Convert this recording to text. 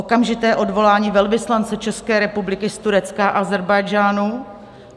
Okamžité odvolání velvyslance České republiky z Turecka a Ázerbájdžánu.